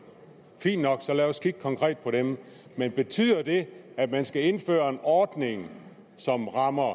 fint nok og lad os kigge konkret på dem men betyder det at man skal indføre en ordning som rammer